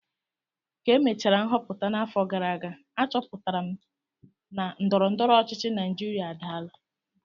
Ka emechara nhọpụta n'afọ gara aga, achọpụtara m na ndọrọ ndọrọ ọchịchị Naijiria adaala